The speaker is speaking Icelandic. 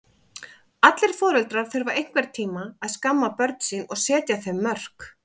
Allir foreldrar þurfa einhvern tíma að skamma börn sín og setja þeim mörk.